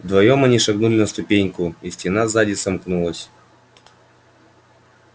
вдвоём они шагнули на ступеньку и стена сзади сомкнулась